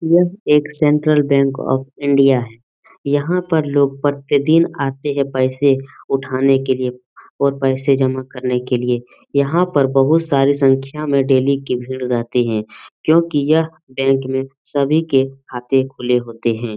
यह एक central bank of India है। यहां पर लोग प्रतिदिन आते है पैसे उठाने के लिए और पैसे जमा करने के लिए। यहां पर बहुत सारे संख्या में डेली की भीड़ रहती है क्योंकि यह बैंक में सभी के खाते खुले होते है।